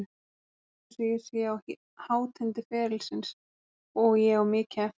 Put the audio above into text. Mér líður eins og ég sé á hátindi ferilsins og ég á mikið eftir.